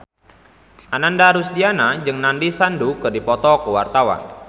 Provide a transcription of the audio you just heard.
Ananda Rusdiana jeung Nandish Sandhu keur dipoto ku wartawan